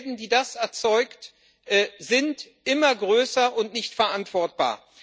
Die Schäden, die das erzeugt, sind immer größer und nicht verantwortbar.